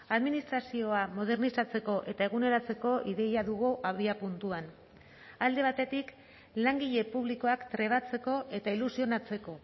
administrazioa modernizatzeko eta eguneratzeko ideia dugu abiapuntuan alde batetik langile publikoak trebatzeko eta ilusionatzeko